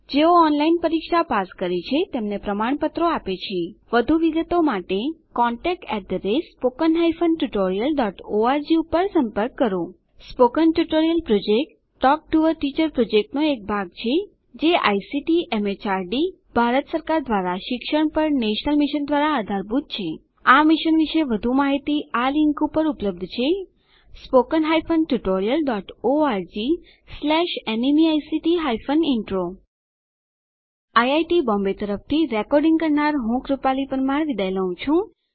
જેઓ ઓનલાઇન પરીક્ષા પાસ કરે છે તેમને પ્રમાણપત્રો આપે છે વધુ વિગતો માટે contactspoken tutorialorg ઉપર સંપર્ક કરો spoken tutorial project talk to a teacher પ્રોજેક્ટનો ભાગ છે જે આઇસીટી એમએચઆરડી ભારત સરકાર દ્વારા શિક્ષણ પર નેશનલ મિશન દ્વારા આધારભૂત છે આ મિશન વિશે વધુ માહીતી આ લીંક ઉપર ઉપલબ્ધ છે spoken hyphen tutorial dot org slash NMEICT hyphen intro IIT Bombay તરફથી ભાષાંતર કરનાર હું જ્યોતી સોલંકી વિદાય લઉં છું